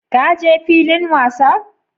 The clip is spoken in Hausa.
Ka je filin wasa?.